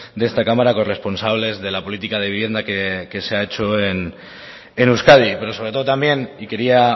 de esta cámara corresponsables de la política de vivienda que se ha hecho en euskadi pero sobre todo también y quería